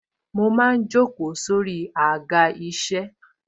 Mo máa ń jókòó sórí Àga isẹ.